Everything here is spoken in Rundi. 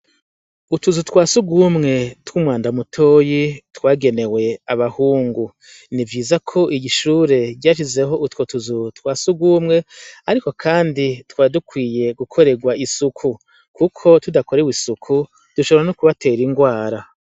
Utuzu twa siugumwe tw'umwandamutoyi twagenewe abahungu ni vyiza ko igishure ryashizeho utwo tuzu twa sugumwe, ariko, kandi twadukwiye gukorerwa isuku, kuko tudakorewe isuku dushobora no kubatera ingwara.